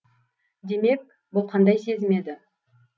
демек бұл қандай сезім еді